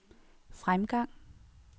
fremgang